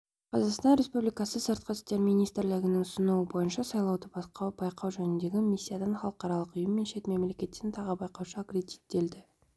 қазақстан республикасы сыртқы істер министрлігінің ұсынуы бойынша сайлауды байқау жөніндегі миссиядан халықаралық ұйым мен шет мемлекеттен тағы байқаушы аккредиттелді